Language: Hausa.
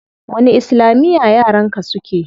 Wani islamiya yaran ka suke?